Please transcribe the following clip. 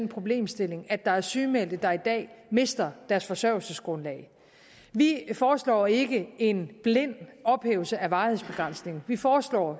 problemstilling at der er sygemeldte der i dag mister deres forsørgelsesgrundlag vi foreslår ikke en blind ophævelse af varighedsbegrænsningen vi foreslår